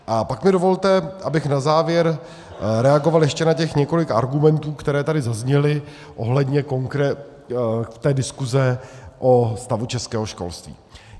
A pak mi dovolte, abych na závěr reagoval ještě na těch několik argumentů, které tady zazněly ohledně té diskuse o stavu českého školství.